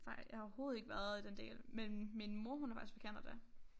Nej jeg har overhoved ikke været i den del men min mor hun er faktisk fra Canada